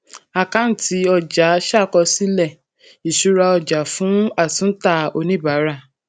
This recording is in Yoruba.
àkáǹtì ọjà ṣàkọsílẹ um ìṣúra ọjà fún atúntà oníbàárà